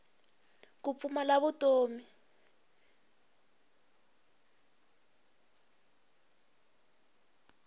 ku pfumala vutomi